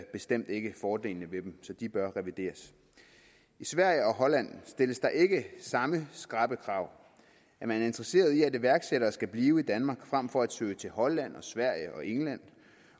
bestemt ikke fordelene ved dem så de bør revideres i sverige og holland stilles der ikke samme skrappe krav er man interesseret i at iværksættere skal blive i danmark frem for at søge til holland og sverige og england